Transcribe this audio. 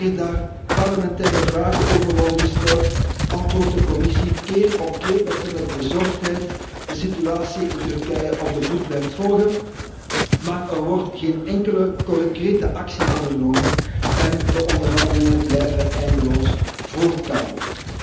Wanneer daar parlementaire vragen over worden gesteld, antwoordt de Commissie keer op keer dat ze met bezorgdheid de situatie in Turkije op de voet blijft volgen, maar er wordt geen enkele concrete actie ondernomen en de onderhandelingen blijven eindeloos voortkabbelen.